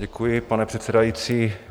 Děkuji, pane předsedající.